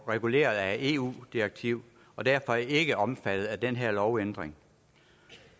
reguleret af et eu direktiv og derfor ikke er omfattet af den her lovændring